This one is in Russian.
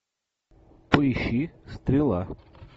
поищи стрела